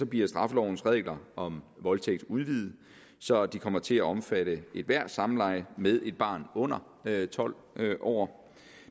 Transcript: bliver straffelovens regler om voldtægt udvidet så de kommer til at omfatte ethvert samleje med et barn under tolv år